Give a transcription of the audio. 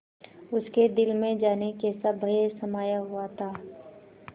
उसके दिल में जाने कैसा भय समाया हुआ था